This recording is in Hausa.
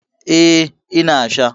Eh, ina sha